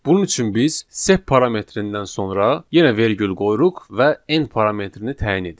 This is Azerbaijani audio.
Bunun üçün biz sep parametrindən sonra yenə vergül qoyuruq və N parametrini təyin edirik.